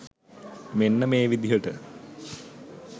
මෙන්න මේ විදිහට.